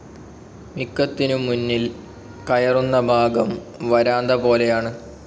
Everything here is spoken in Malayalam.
മിക്കത്തിനും മുന്നിൽ കയറുന്ന ഭാഗം വരാന്തപോലെയാണ്.